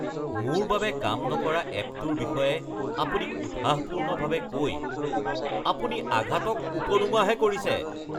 মোৰ বাবে কাম নকৰা এপটোৰ বিষয়ে আপুনি উৎসাহপূৰ্ণভাৱে কৈ আপুনি আঘাতক উপলুঙাহে কৰিছে।